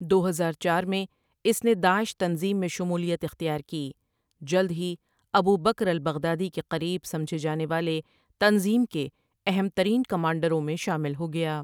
دو ہزار چار میں اس نے داعش تنظیم میں شمولیت اختیار کی جلد ہی ابو بکر البغدادی کے قریب سمجھے جانے والے تنظیم کے اہم ترین کمانڈروں میں شامل ہو گیا ۔